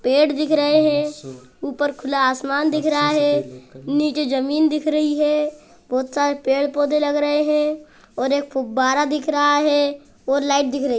पेड़ दिख रहे हैं ऊपर खुला आसमान दिख रहा है नीचे जमीन दिख रही है बहुत सारे पेड़-पौधे लग रहे हैं और एक फुब्बारा दिख रहा है और लाइट दिख रही है।